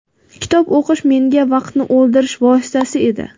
Kitob o‘qish menga vaqtni o‘ldirish vositasi edi.